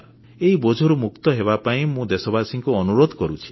ଏଇ ବୋଝରୁ ମୁକ୍ତ ହେବାପାଇଁ ମୁଁ ଦେଶବାସୀଙ୍କୁ ଅନୁରୋଧ କରୁଛି